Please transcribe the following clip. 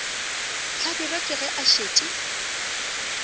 hlabirwa ke ge a šetše